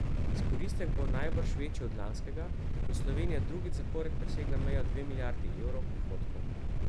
Izkoristek bo najbrž večji od lanskega, ko je Slovenija drugič zapored presegla mejo dve milijardi evrov prihodkov.